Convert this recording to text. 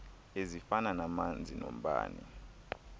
ezifana namanzi nombane